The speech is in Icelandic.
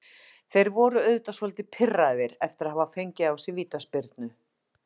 Þeir voru auðvitað svolítið pirraðir eftir að hafa fengið á sig vítaspyrnu.